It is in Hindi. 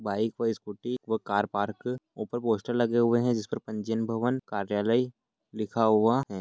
बाइक व स्कूटी व कार पार्क ऊपर पोस्टर लगे हुए है। जिसे पंजीयन भवन कार्यालय लिखा हुआ है।